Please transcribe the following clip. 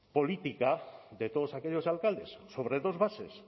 política de todos aquellos alcaldes sobre dos bases